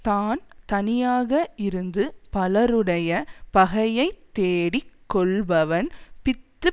தான் தனியாக இருந்து பலருடைய பகையை தேடிக் கொள்பவன் பித்து